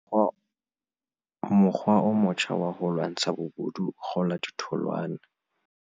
Mokgwa o motjha wa ho lwantsha bobodu o kgola ditholwana